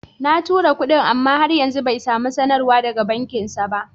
Na tura kuɗin, amma har yanzu bai samu sanarwar daga bankinsa ba.